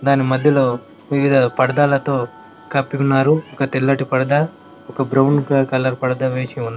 దాని మధ్యలో వివిధ పడ్తాలతో పరదా కప్పి ఉన్నారు ఒక తెల్లటి పర్ద పరదా ఒక బ్రౌన్ కలర్ పరదా వేసి ఉన్ --